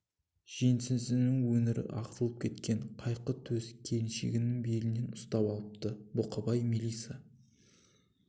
жеңсізінің өңірі ағытылып кеткен қайқы төс келіншегің белінен ұстап алыпты бұқабай мелиса